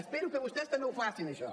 espero que vostès també ho facin això